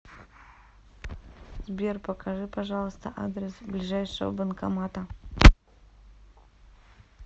сбер покажи пожалуйста адрес ближайшего банкомата